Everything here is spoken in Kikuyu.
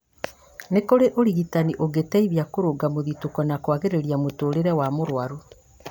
nĩ kũrĩ ũrigitani ũngĩteithia kũrũnga mũthitũko na kwagĩria mũtũũrĩre wa mũrwaru